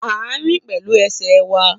A rìn pẹ̀lú ẹsẹ̀ wa